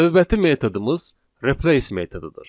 Növbəti metodumuz replace metodudur.